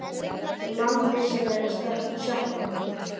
Landi sem er að sökkva.